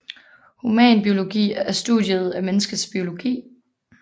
Humanbiologi er studiet af menneskets biologi